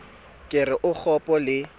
ke re o kgopo le